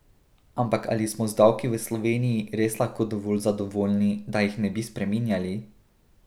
Ampak ali smo z davki v Sloveniji res lahko dovolj zadovoljni, da jih ne bi spreminjali?